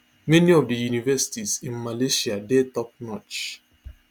many of di universities in malaysia dey topnotch